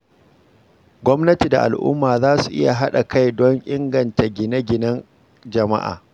Gwamnati da al'umma za su iya haɗa kai don inganta gine-ginen jama’a.